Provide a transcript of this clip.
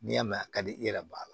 N'i y'a mɛn a ka di i yɛrɛ b'a la